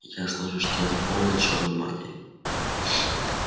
ясно же что она полна чёрной магии